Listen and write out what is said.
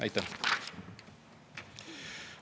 Aitäh!